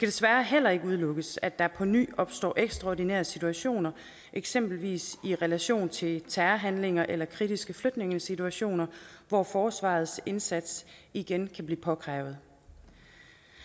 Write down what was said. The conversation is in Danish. desværre heller ikke udelukkes at der på ny opstår ekstraordinære situationer eksempelvis i relation til terrorhandlinger eller kritiske flygtningesituationer hvor forsvarets indsats igen kan blive påkrævet